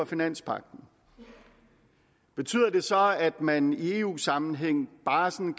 finanspagten betyder det så at man i eu sammenhæng bare sådan